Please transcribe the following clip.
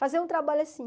Fazer um trabalho assim.